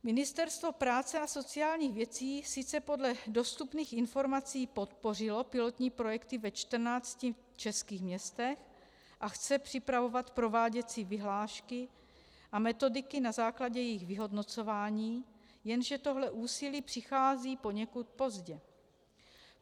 Ministerstvo práce a sociálních věcí sice podle dostupných informací podpořilo pilotní projekty ve čtrnácti českých městech a chce připravovat prováděcí vyhlášky a metodiky na základě jejich vyhodnocování, jenže toto úsilí přichází poněkud pozdě.